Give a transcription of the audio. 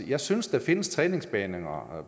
jeg synes der findes træningsbaner